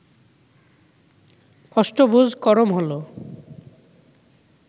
অষ্টভুজকরম হল